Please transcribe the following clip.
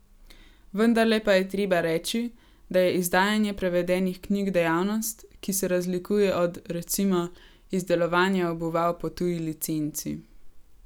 Vendarle pa je treba reči, da je izdajanje prevedenih knjig dejavnost, ki se razlikuje od, recimo, izdelovanja obuval po tuji licenci.